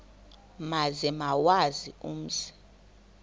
maze bawazi umzi